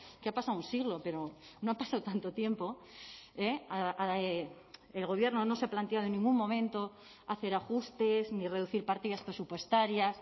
que ha pasado un siglo pero no ha pasado tanto tiempo el gobierno no se ha planteado en ningún momento hacer ajustes ni reducir partidas presupuestarias